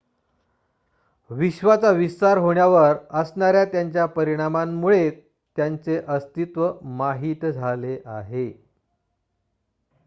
विश्वाचा विस्तार होण्यावर असणाऱ्या त्याच्या परिणामांमुळे त्याचे अस्तित्व माहित झाले आहे